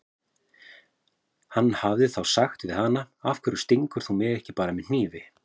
Hann hefði þá sagt við hana: Af hverju stingur þú mig ekki bara með hnífi?